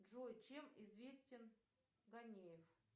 джой чем известен ганеев